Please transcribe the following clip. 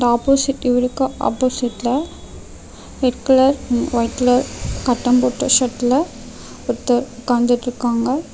Opposite இவருக்கு opposite ல red colour white ல கட்டம் போட்ட ஷர்ட் ல ஒருத்தர் உக்காந்துட்ருக்காங்க .